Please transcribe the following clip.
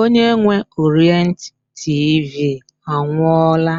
Onye nwe Orient TV anwụọla